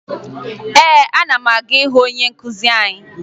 Ee, ana m aga ịhụ onye nkụzi anyị